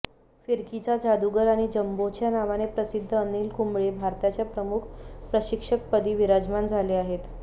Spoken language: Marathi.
फिरकीचा जादूगर आणि जंबोच्या नावाने प्रसिद्ध अनिल कुंबळे भारताच्या प्रमुख प्रशिक्षकपदी विराजमान झाले आहेत